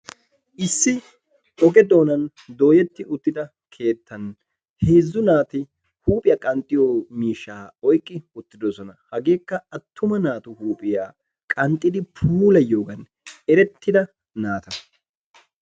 Issi oge doonaan dooretti uttida keettani heezzu naati huuphphiya qanxxiyo miishshaa oyqqi uttidosona. Hageekka attuma naatu huuphphiya qanxxidi puulayiyogan erettida naata.